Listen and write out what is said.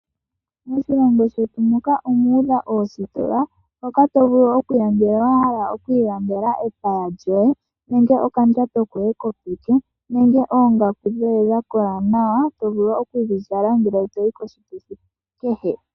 Moshilongo shetu muka omuudha ositola, hoka tovulu okuya ngele wahala okwii landela epaya lyoye , nenge okandjato koye kopeke , nenge oongaku dhoye dhakola nawa tovulu okudhi zala ngele toyi koshituthi kehe.